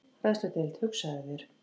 Fræðsludeild, hugsaðu þér!